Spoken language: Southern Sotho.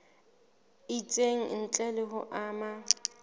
itseng ntle le ho ama